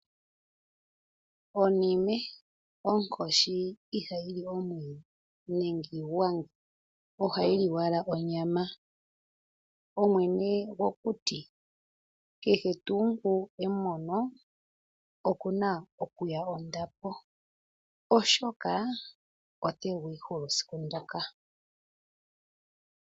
Oniime, okoshi Iha yili omwidhi nenge iingwanga oha yili owala onyama , omwene gokuti kehe tu ngu emono okuna okuya ondapo oshoka otengwihulu siku ndoka.